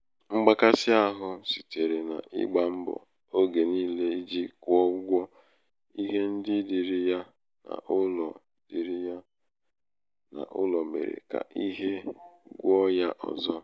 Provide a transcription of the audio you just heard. mgbakàsịahụ sitere n’ịgbā mbọ̀ ogè niilē ijī kwụọ ụgwọ ihe ndị dịìrị ya n’ụlọ dịìrị ya n’ụlọ mèrè kà ike gwụ̄ ya ọ̀zọ.